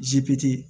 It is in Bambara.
Zipiti ye